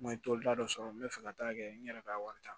N ye tolita dɔ sɔrɔ n bɛ fɛ ka taa kɛ n yɛrɛ ka wari ta